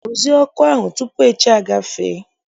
Rụzie ọkụ ahụ tupu echi agafee!